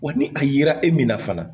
Wa ni a yera e min na fana